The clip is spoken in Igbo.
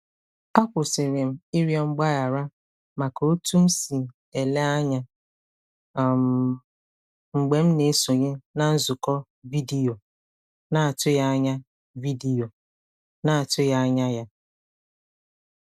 A kwụsịrị m ịrịọ mgbaghara maka otú m si ele anya um mgbe m na-esonye na nzukọ vidiyo na-atụghị anya vidiyo na-atụghị anya ya.